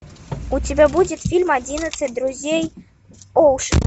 у тебя будет фильм одиннадцать друзей оушена